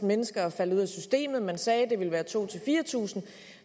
mennesker er faldet ud af systemet og man sagde det ville være to tusind 4000